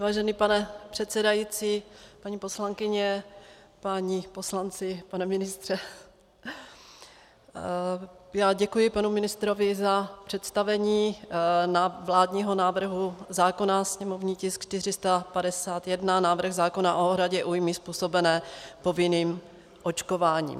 Vážený pane předsedající, paní poslankyně, páni poslanci, pane ministře, já děkuji panu ministrovi za představení vládního návrhu zákona, sněmovní tisk 451, návrh zákona o náhradě újmy způsobené povinným očkováním.